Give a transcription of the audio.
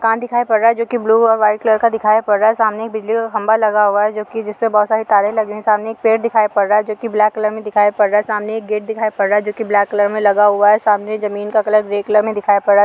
कांच दिखाई पड़ रहा है जो कि ब्लू और व्हाइट कलर का दिखाई पड़ रहा है सामने एक बिजली का खंभा लगा हुआ है जो कि जिसपे बहुत सारी तारे लगी हुई है सामने एक पेड़ दिखाई पड़ रहा है जो कि ब्लैक कलर में दिखाई पड़ रहा है सामने एक गेट दिखाई पड़ रहा है जो कि ब्लैक कलर में लगा हुआ है सामने जमीन का कलर ग्रे कलर में दिखाई पड़ रहा है।